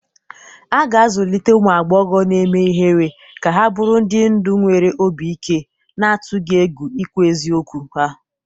A ga-azụlite ụmụ agbọghọ na-eme ihere ka ha bụrụ ndị ndu nwere obi ike, na-atụghị egwu ikwu eziokwu ha.